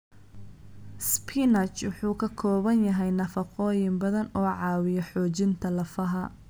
Spinach wuxuu ka kooban yahay nafaqooyin badan oo caawiya xoojinta lafaha.